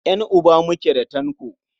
Ƴan'uba muke da Tanko.